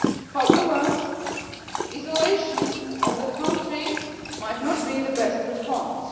However, isolation of the country might not be the best response.